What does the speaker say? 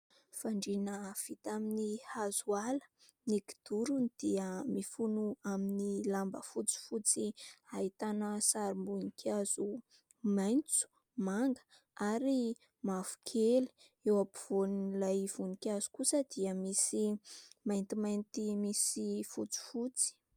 Fandrina vita amin'ny hazo ala. Ny kidorony dia mifono amin'ny lamba fotsifotsy ahitana sarim-boninkazo maitso, manga ary mavokely. Eo ampovoan'ilay voninkazo kosa dia misy maintimainty misy fotsifotsy.